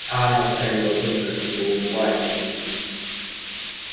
а она скалила зубы как будто улыбаясь ему